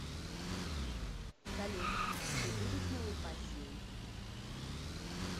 салют ты будешь моей пассией